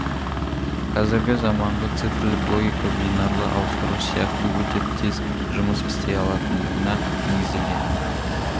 қазіргі заманғы цифрлік логика бинарлы ауыстырғыш сияқты өте тез жұмыс істей алатындығына негізделген